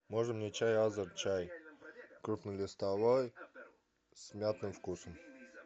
можно мне чай азерчай крупнолистовой с мятным вкусом